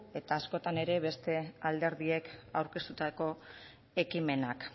eta askotan ere beste alderdiek aurkeztutako ekimenak